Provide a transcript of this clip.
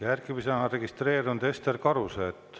Järgmisena on registreerunud Ester Karuse.